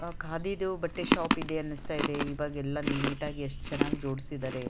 ಆಹ್ಹ್ ಕಾದಿ ದು ಬಟ್ಟೆ ಶಾಪ್ ಇದೆ ಅನ್ನಿಸ್ತದೆ ಇವಾಗೆಲ್ಲ ನೀಟಾಗಿ ಎಸ್ಟ್ ಚೆನ್ನಾಗಿ ಜೋಡಿಸಿದ್ದಾರೆ.